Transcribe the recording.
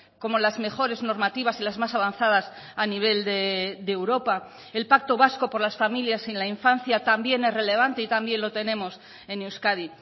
como las mejores normativas y las más avanzadas a nivel de europa el pacto vasco por las familias y la infancia también es relevante y también lo tenemos en euskadi